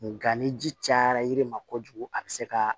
Nga ni ji cayara yiri ma kojugu a be se ka